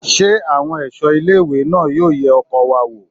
Ṣé àwọn ẹ̀ṣọ́ ilé ìwé náà yóò ye ọkọ̀ wa wò?